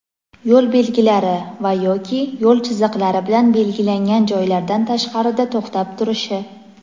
yo‘l belgilari va (yoki) yo‘l chiziqlari bilan belgilangan joylardan tashqarida to‘xtab turishi.